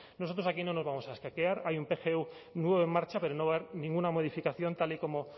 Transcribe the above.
nosotros aquí no nos vamos a escaquear hay un pgu nuevo en marcha pero no va a haber ninguna modificación tal y como